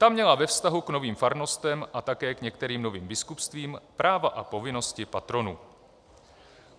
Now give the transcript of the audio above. Ta měla ve vztahu k novým farnostem - a také k některým novým biskupstvím - práva a povinnosti patronů.